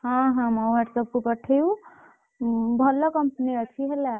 ହଁ ହଁ, ମୋ whatsapp କୁ ପଠେଇବୁ ହଁ ଭଲ company ଅଛି ହେଲା।